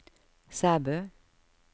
Sæbø